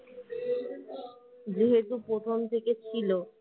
যেহেতু প্রথম থেকে ছিল